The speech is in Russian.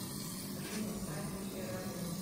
афина сайт русское радио